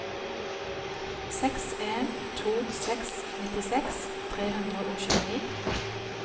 seks en to seks nittiseks tre hundre og tjueni